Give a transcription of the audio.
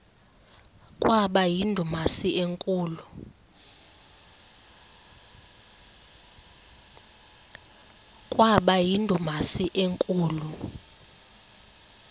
kwaba yindumasi enkulu